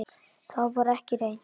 Það var ekki reynt.